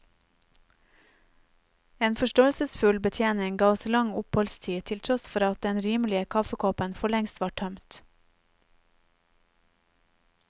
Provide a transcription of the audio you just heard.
En forståelsesfull betjening ga oss lang oppholdstid til tross for at den rimelige kaffekoppen forlengst var tømt.